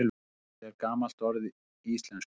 Rennilás er ekki gamalt orð í íslensku.